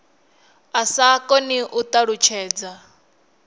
a sa koni u ṱalutshedza